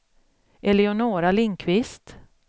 Eleonora Lindqvist